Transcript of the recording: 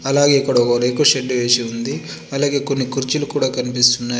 అలాగే ఇక్కడొక రేకుల షెడ్డు వేసి ఉంది. అలాగే కొన్ని కుర్చీలు కుడా కనిపిస్తున్నాయి.